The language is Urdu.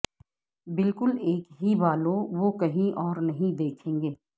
بالکل ایک ہی بالوں وہ کہیں اور نہیں دیکھیں گے